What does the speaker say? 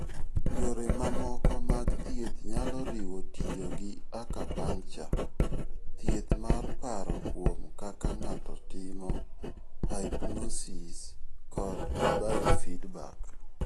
Yore mamoko mag thieth nyalo riwo tiyo gi acupuncture, thieth mar paro kuom kaka ng'ato timo, hypnosis, kod biofeedback.